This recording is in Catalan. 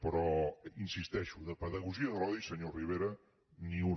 però hi insisteixo de pedagogia de l’odi senyor rivera ni una